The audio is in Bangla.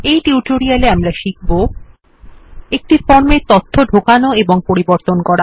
এই টিউটোরিয়ালে আমরা শিখব একটি ফর্মে তথ্য ঢোকানো এবং পরিবর্তন করা